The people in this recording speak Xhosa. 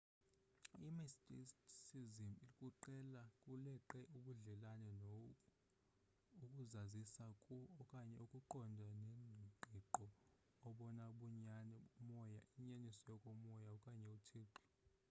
imysticism kuleqe ubudlelane no ukuzazisa ku okanye ukuqonda ngengqiqo obona bunyani ubumoya inyaniso yokomoya okanye uthixo